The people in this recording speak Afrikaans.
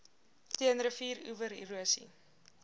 teen rivieroewer erosie